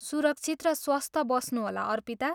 सुरक्षित र स्वस्थ बस्नुहोला अर्पिता।